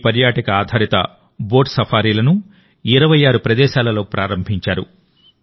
ఈ పర్యాటక ఆధారిత బోట్ సఫారీలను26 ప్రదేశాలలో ప్రారంభించారు